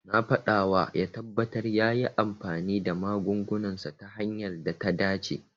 Na faɗawa ya tabbata yayi amfani da magungunansa ta hanyar da ta dace.